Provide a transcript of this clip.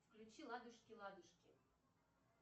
включи ладушки ладушки